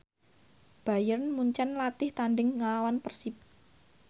Bayern Munchen latih tandhing nglawan Persib